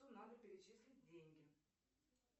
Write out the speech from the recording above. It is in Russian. надо перечислить деньги